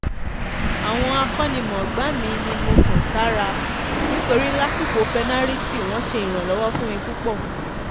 àwọn akónimọ̀gbà mi ni mo kàn sára nítorí lásìkò pẹ́nàrìtì wọ́n ṣe ìrànlọ́wọ́ fún mi púpọ̀